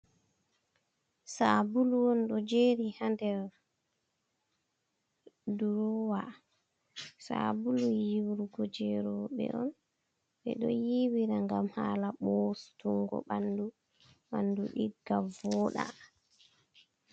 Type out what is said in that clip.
Sabulu won do jeri hander, durowa sabulu yiwrugo jerobe on ɓe ɗo yibira gam hala bostungo bandu bandu digga vooɗa.